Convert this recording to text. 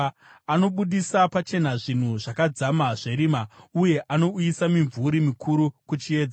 Anobudisa pachena zvinhu zvakadzama zverima, uye anouyisa mimvuri mikuru kuchiedza.